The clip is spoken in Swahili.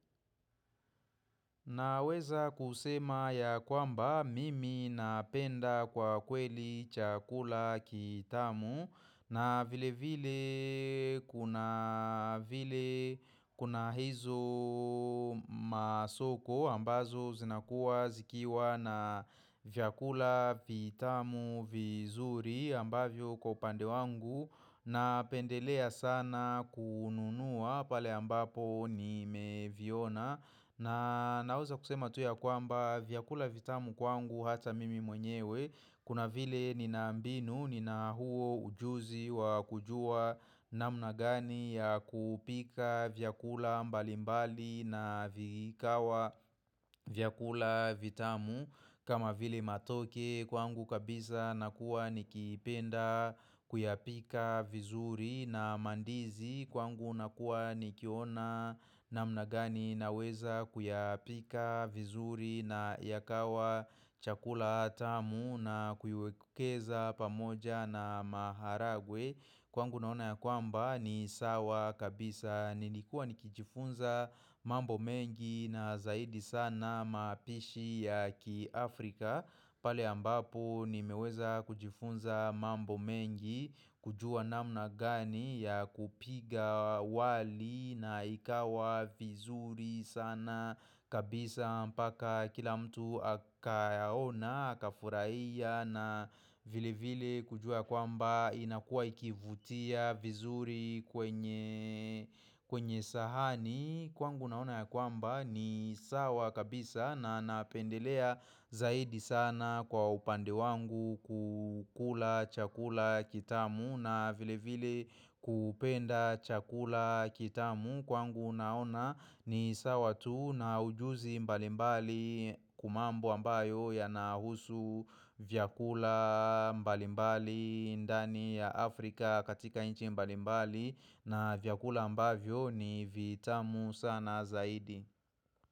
Naweza kusema ya kwamba mimi napenda kwa kweli chakula kitamu na vile vile kuna vile kuna hizo masoko ambazo zinakua zikiwa na vyakula vitamu vizuri ambavyo kwa upande wangu Napendelea sana kununua pale ambapo nimeviona na naweza kusema tu ya kwamba vyakula vitamu kwangu hata mimi mwenyewe kuna vile nina mbinu nina huo ujuzi wa kujua namna gani ya kupika vyakula mbalimbali na vikawa vyakula vitamu kama vile matoke kwangu kabisa nakuwa nikipenda kuyapika vizuri na mandizi kwangu nakuwa nikiona namna gani naweza kuyapika vizuri na yakawa chakula tamu na kuiekeza pamoja na maharagwe Kwangu naona ya kwamba ni sawa kabisa nilikuwa nikijifunza mambo mengi na zaidi sana mapishi ya ki Afrika Palr ambapo nimeweza kujifunza mambo mengi kujua namna gani ya kupiga wali na ikawa vizuri sana kabisa mpaka kila mtu akayaona, akafurahia na vile vile kujua kwamba inakua ikivutia vizuri kwenye kwenye sahani kwangu naona ya kwamba ni sawa kabisa na napendelea zaidi sana kwa upande wangu kukula chakula kitamu na vile vile kupenda chakula kitamu kwangu naona ni sawa tu na ujuzi mbalimbali ku mambo ambayo yanahusu vyakula mbalimbali ndani ya Afrika katika nchi mbalimbali na vyakula ambavyo ni vitamu sana zaidi.